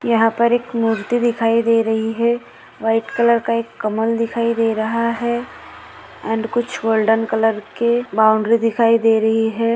यहा पर एक मूर्ति दिखाई दे रही है व्हाइट कलर का एक कमल दिखाई दे रहा है अँड कुछ गोल्डन कलर के बाउंड्री दिखाई दे रही है।